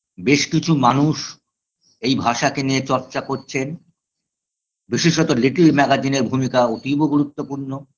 বেশ কিছু মানুষ এই ভাষাকে নিয়ে চর্চা করছেন বিশেষত little magazine -এর ভূমিকা অতীব গুরুত্বপূর্ণ